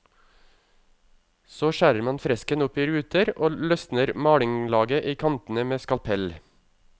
Så skjærer man fresken opp i ruter og løsner malinglaget i kantene med skalpell.